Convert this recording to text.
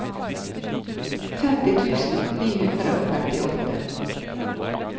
femti tusen ni hundre og femtiåtte